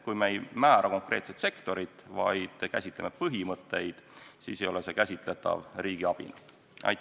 Kui me ei määra konkreetset sektorit, vaid käsitleme põhimõtteid, siis ei ole see käsitletav riigiabina.